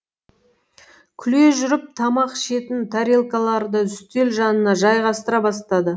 күле жүріп тамақ ішетін тарелкаларды үстел жанына жайғастыра бастады